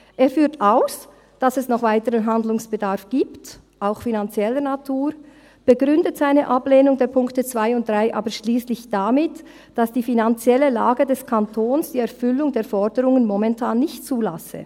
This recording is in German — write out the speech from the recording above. Er führt aus, dass es noch weiteren Handlungsbedarf gibt, auch finanzieller Natur, begründet seine Ablehnung der Punkte 2 und 3 aber schliesslich damit, dass die finanzielle Lage des Kantons die Erfüllung der Forderungen momentan nicht zulasse.